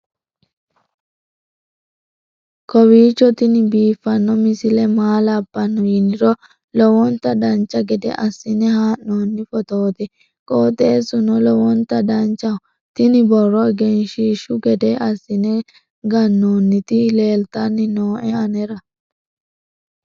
kowiicho tini biiffanno misile maa labbanno yiniro lowonta dancha gede assine haa'noonni foototi qoxeessuno lowonta danachaho. tini borro egenshshiishu gede assine gannoonniti leeltanni nooe anera